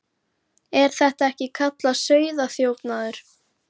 Er þetta ekki kallað sauðaþjófnaður?